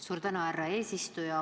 Suur tänu, härra eesistuja!